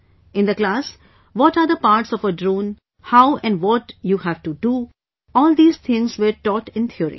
In the class, what are the parts of a drone, how and what you have to do all these things were taught in theory